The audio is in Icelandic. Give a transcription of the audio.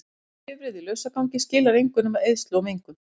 Bifreið í lausagangi skilar engu nema eyðslu og mengun.